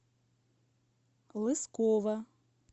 лысково